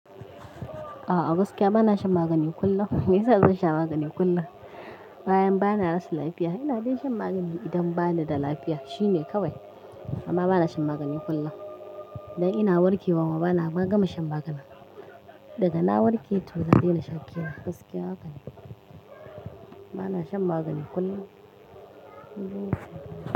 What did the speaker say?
A'a gaskiya bana shan magani kullum. Me yasa zan sha magani kullum? Bayan bana rasa lafiya. Ina dai shan magani idan bani da lafiya shine kawai. Amma bana shan magani kullum. Idan ina warkewa ma bana gama shan magana. Daga na warke toh zan daina sha ƙira. Gaskiya haka ne. Bana shan magani kullum.